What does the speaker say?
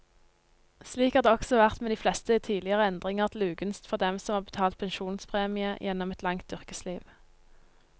Slik har det også vært med de fleste tidligere endringer til ugunst for dem som har betalt pensjonspremie gjennom et langt yrkesliv.